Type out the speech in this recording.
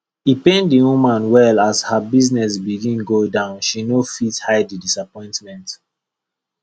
e pain the woman well as her business begin go down she no fit hide the disappointment